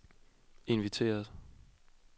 inviteret